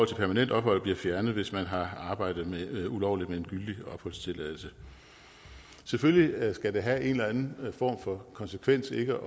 til permanent ophold bliver fjernet hvis man har arbejdet ulovligt med en gyldig opholdstilladelse selvfølgelig skal det have en eller anden form for konsekvens ikke